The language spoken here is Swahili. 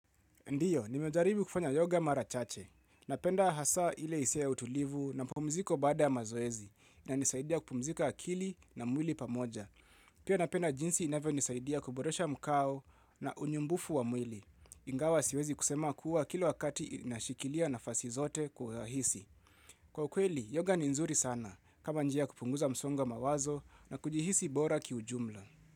Ndiyo, nimejaribu kufanya yoga mara chache. Napenda hasa ile hisia ya utulivu na mapumziko baada ya mazoezi inanisaidia kupumzika akili na mwili pamoja. Pia napenda jinsi inavyonisaidia kuboresha mkao na unyumbufu wa mwili. Ingawa siwezi kusema kuwa kila wakati inashikilia nafasi zote kugahisi. Kwa ukweli, yoga ni nzuri sana kama njia ya kupunguza msongo wa mawazo na kujihisi bora ki ujumla.